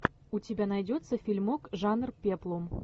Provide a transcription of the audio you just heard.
у тебя найдется фильмок жанр пеплум